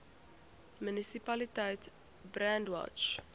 munisipaliteit brandwatch